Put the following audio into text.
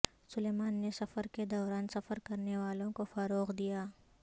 سلیمان نے سفر کے دوران سفر کرنے والوں کو فروغ دیا